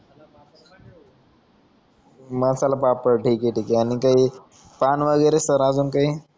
मसाला पापड ठिके ठिके अजून काई पान वगेरे सर आजून काई